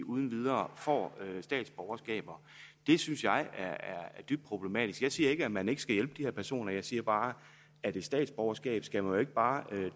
uden videre får statsborgerskab det synes jeg er dybt problematisk jeg siger ikke at man ikke skal hjælpe de her personer jeg siger bare at et statsborgerskab skal man jo ikke bare